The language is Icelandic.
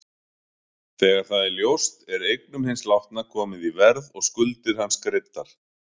Þegar það er ljóst er eignum hins látna komið í verð og skuldir hans greiddar.